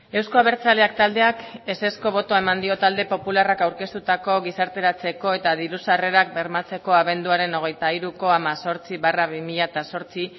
euzko abertzaleak taldeak ezezko botoa eman dio talde popularrak aurkeztutako gizarteratzeko eta diru sarrerak bermatzeko abenduaren hogeita hiruko hemezortzi barra bi mila zortzi